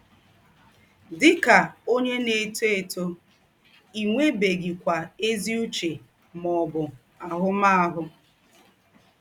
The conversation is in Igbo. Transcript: Dị kà ǒnyé na - étò étò, ì nwèbèghịkwà ézì ǔchè mà ọ̀bụ̀ àhū̀màhụ̀.